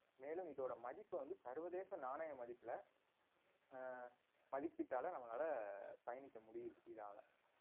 மேலும் இதோட மதிப்ப வந்து சர்வதேச நாணய மதிப்புல அஹ் நம்மளால பயணிக்க முடியுது இதால